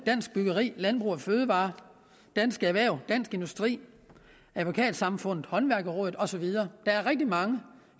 dansk byggeri landbrug fødevarer dansk erhverv dansk industri advokatsamfundet håndværksrådet og så videre der er rigtig mange